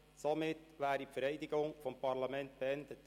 Somit ist die Vereidigung des Parlaments beendet.